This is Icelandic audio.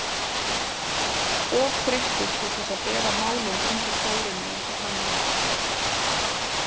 Of þreyttur til þess að bera málin undir Þórunni eins og hann hafði ætlað sér.